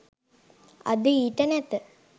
අද ඊට නැත